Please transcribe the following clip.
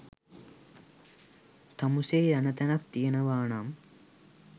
තමුසේ යන තැනක් තියෙනවා නම්